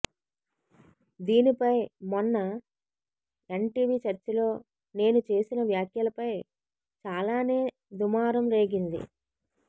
దీనిపై మొన్న ఎన్టివి చర్చలో నేను చేసిన వ్యాఖ్యలపై చాలానే దుమారం రేగింది